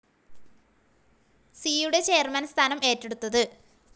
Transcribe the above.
സിയുടെ ചെയർമാൻ സ്ഥാനം ഏറ്റെടുത്തത്.